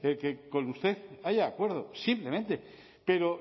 que con usted haya acuerdo simplemente pero